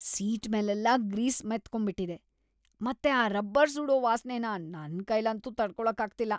Seat ಮೇಲೆಲ್ಲ grease ಮೆತ್ಕೊಂಬಿಟಿದೆ.. ಮತ್ತೆ ಆ ರಬ್ಬರ್‌ ಸುಡೋ ವಾಸ್ನೆನ ನನ್‌ ಕೈಲಂತೂ ತಡ್ಕೊಳಕ್ಕಾಗ್ತಿಲ್ಲ.